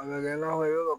A ka kɛ nakɔ ye yɔrɔ